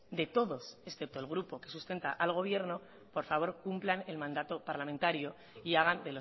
de todos excepto el grupo que sustenta al gobierno por favor cumplan el mandato parlamentario y hagan